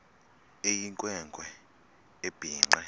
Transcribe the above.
eyinkwe nkwe ebhinqe